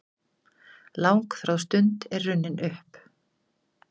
Langþráð stund er runnin upp!